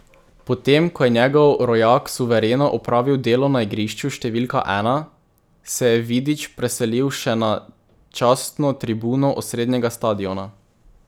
Potem ko je njegov rojak suvereno opravil delo na igrišču številka ena, se je Vidić preselil še na častno tribuno osrednjega stadiona.